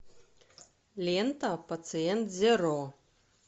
лента пациент зеро